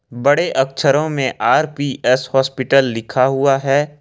बड़े अक्षरों में आर पी एस हॉस्पिटल लिखा हुआ है।